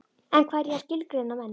En hvað er ég að skilgreina menn?